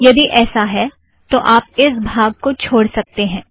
यदि ऐसा है तो आप इस भाग को छोड़ सकतें हैं